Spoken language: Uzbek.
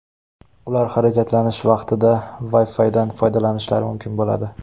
Ular harakatlanish vaqtida Wi-Fi’dan foydalanishlari mumkin bo‘ladi.